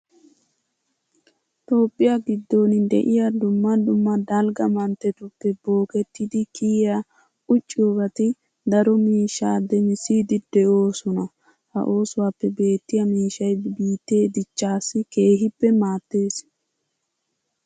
Toophphiya giddon de'iya dumma dumma dalgga manttetuppe bookettidi kiyiya ucciyobati daro miishshaa demissiiddi de'oosona. Ha oosuwappe beettiya miishshay biittee dichchaassi keehippe maaddees.